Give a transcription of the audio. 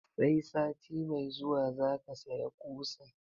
Sai sati mai zuwa zaka saya ƙusa?